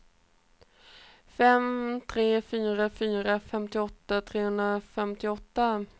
fem tre fyra fyra femtioåtta trehundrafemtioåtta